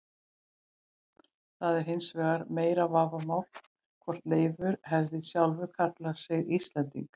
Það er hins vegar meira vafamál hvort Leifur hefði sjálfur kallað sig Íslending.